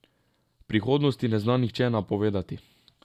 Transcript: Prihodnosti ne zna nihče napovedati.